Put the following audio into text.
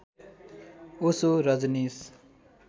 Osho Rajneesh